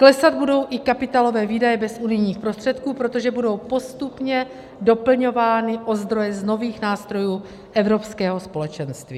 Klesat budou i kapitálové výdaje bez unijních prostředků, protože budou postupně doplňovány o zdroje z nových nástrojů Evropského společenství.